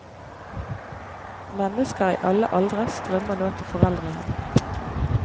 Mennesker i alle aldre strømmer nå til foreldrehjemmet.